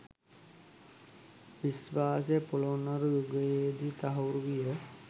විශ්වාසය පොළොන්නරු යුගයේ දී තහවුරු විය.